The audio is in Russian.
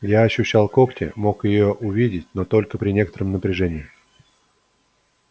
я ощущал когти мог её увидеть но только при некотором напряжении